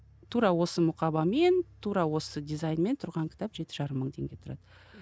тура осы мұқабамен тура осы дизаинмен тұрған кітап жеті жарым мың теңге тұрады